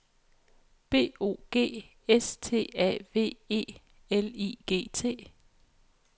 B O G S T A V E L I G T